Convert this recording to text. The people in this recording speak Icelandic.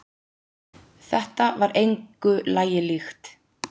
Þetta var engu lagi líkt.